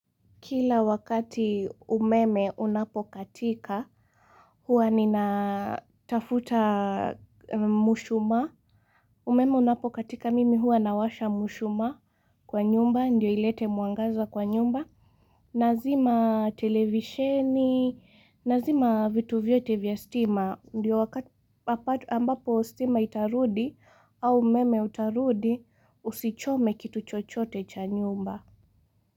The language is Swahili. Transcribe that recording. Kila wakati umeme unapokatika, huwa ninatafuta mshumaa, umeme unapokatika mimi huwa nawasha mshumaa kwa nyumba, ndiyo ilete mwangaza kwa nyumba, nazima televisheni, nazima vitu vyote vya stima, ndio wakati ambapo stima itarudi au umeme utarudi usichome kitu chochote cha nyumba.